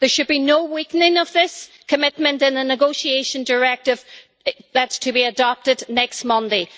There should be no weakening of this commitment in the negotiation directive that is to be adopted next Monday.